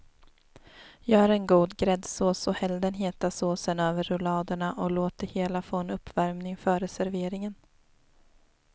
Gör en god gräddsås och häll den heta såsen över rulladerna och låt det hela få en uppvärmning före serveringen.